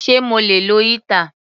Sé mo lè lo heater?.